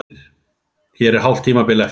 Það er hálft tímabil eftir!